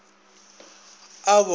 a bo ka re ka